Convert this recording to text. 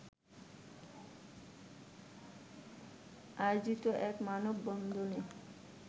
আয়োজিত এক মানববন্ধনে